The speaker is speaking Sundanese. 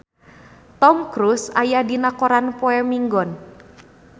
Tom Cruise aya dina koran poe Minggon